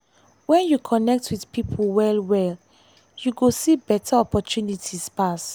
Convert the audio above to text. when you connect with people well-well you go see better opportunities pass.